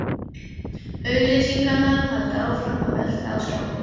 Auglýsingarnar halda áfram að velta á skjánum.